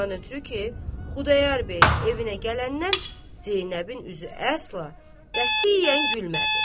Ondan ötrü ki, Xudayar bəyin evinə gələndən Zeynəbin üzü əsla, qətiyyən gülmədi.